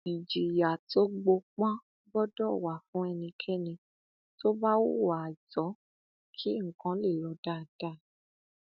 ìjìyà tó gbópọn gbọdọ wà fún ẹnikẹni tó bá hùwà àìtọ kí nǹkan lè lọ dáadáa